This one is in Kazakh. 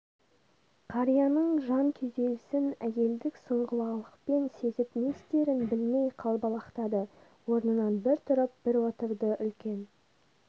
қарияның жан күйзелсін әйелдік сұңғылалықпен сезіп не істерін білмей қалбалақтады орнынан бір тұрып бір отырды үлкен